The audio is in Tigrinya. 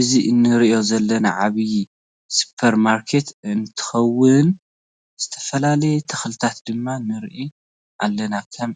እዚ እንሪኦ ዘለና ዓብይ ስፖር ማርኬት እንትከውን ዝትፈላለዩ ተክልታት ድማ ንርኢ ኣለና ። ከም